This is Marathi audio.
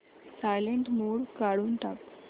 सायलेंट मोड काढून टाक